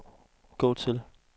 gå til